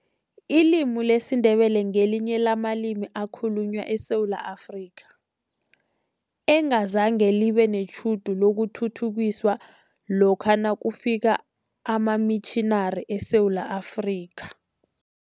Ilimi lesiNdebele ngelinye lamalimi akhulunywa eSewula Afrika, engazange libe netjhudu lokuthuthukiswa lokha nakufika amamitjhinari eSewula Afrika.